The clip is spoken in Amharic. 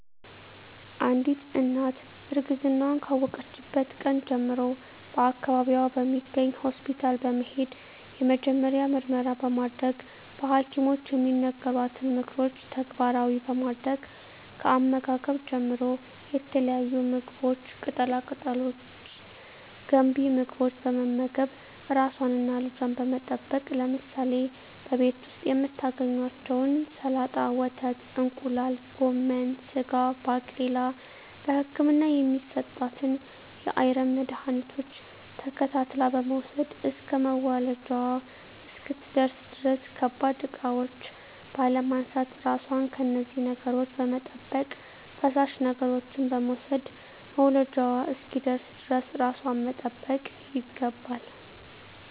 አንዲት እናት እርግዝናዋን ካወቀችበት ቀን ጀምሮ በአካባቢዋ በሚገኝ ሆስፒታል በመሄድ የመጀመሪያ ምርመራ በማድረግ በሀኪሞች የሚነገሯትን ምክሮች ተግባራዊ በማድረግ ከአመጋገብ ጀምሮ የተለያዩ ምግቦች ቅጠላ ቅጠሎች ገንቢ ምግቦች በመመገብ ራሷንና ልጇን በመጠበቅ ለምሳሌ በቤት ዉስጥ የምታገኛቸዉን ሰላጣ ወተት እንቁላል ጎመን ስጋ ባቄላ በህክምና የሚሰጣትን የአይረን መድሀኒቶች ተከታትላ በመዉሰድ እስከ መዉለጃዋ እስክትደርስ ድረስ ከባድ እቃዎች ባለማንሳት ራሷን ከነዚህ ነገሮች በመጠበቅ ፈሳሽ ነገሮችን በመዉሰድ መዉለጃዋ እስኪደርስ ድረስ ራሷን መጠበቅ ይገባል